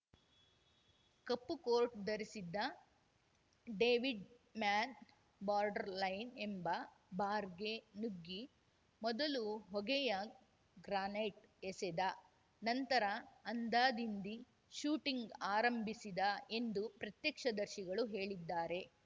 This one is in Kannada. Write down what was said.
ಕಪ್ಪು ಕೋಟ್‌ ಧರಿಸಿದ್ದ ಡೇವಿಡ್‌ ಮ್ಯಾನ್‌ ಬಾರ್ಡರ್‌ಲೈನ್‌ ಎಂಬ ಬಾರ್‌ಗೆ ನುಗ್ಗಿ ಮೊದಲು ಹೊಗೆಯ ಗ್ರಾನೇಡ್‌ ಎಸೆದ ನಂತರ ಅಂಧಾದಿಂಧಿ ಶೂಟಿಂಗ್‌ ಆರಂಭಿಸಿದ ಎಂದು ಪ್ರತ್ಯಕ್ಷದರ್ಶಿಗಳು ಹೇಳಿದ್ದಾರೆ